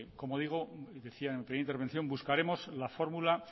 como decía en mi primera intervención buscaremos la fórmula